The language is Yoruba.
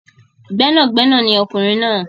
Gbẹ́nàgbẹnà ni ọkùnrin náà.